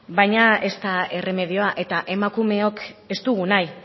baina ez da erremedioa eta emakumeok ez dugu nahi